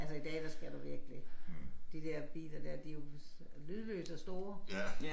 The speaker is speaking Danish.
Altså i dag der skal du virkelig. De der biler der de jo lydløse og store